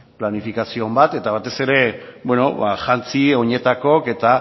planifikazio on bat eta batez ere jantzi oinetakook eta